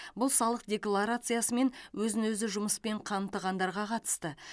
бұл салық декларациясы мен өзін өзі жұмыспен қамтығандарға қатысты